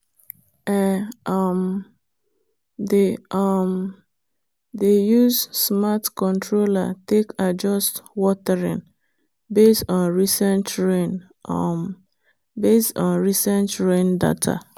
e um dey um use smart controller take adjust watering based on recent rain um data.